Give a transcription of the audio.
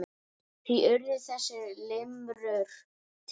Því urðu þessar limrur til.